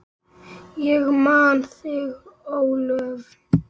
Ég man þig, Ólöf.